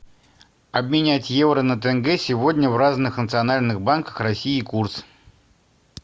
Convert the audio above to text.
обменять евро на тенге сегодня в разных национальных банках россии курс